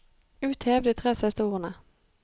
Uthev de tre siste ordene